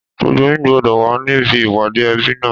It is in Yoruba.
Gbogbo yín gbọdọ̀ wà níbí ìpàdé ẹbí náà!